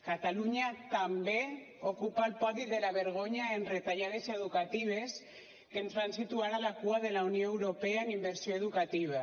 catalunya també ocupa el podi de la vergonya en retallades educatives que ens fan situar a la cua de la unió europea en inversió educativa